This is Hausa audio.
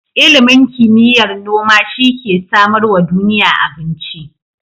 Ilimin kimiyar noma shi ke samarwa duniya abinci.